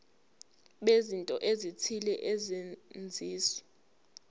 bezinto ezithile ezenziwa